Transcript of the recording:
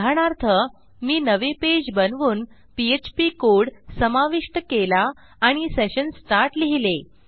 उदाहरणार्थ मी नवे पेज बनवून पीएचपी कोड समाविष्ट केला आणि सेशन स्टार्ट लिहिले